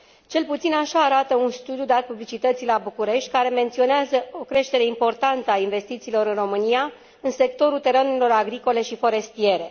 Cel puțin așa arată un studiu dat publicității la București care menționează o creștere importantă a investițiilor în România în sectorul terenurilor agricole și forestiere.